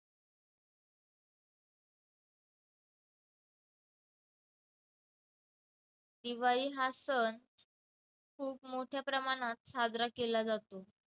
दिवाळी हा सण मोठ्या प्रमाणात साजरा केला जातो.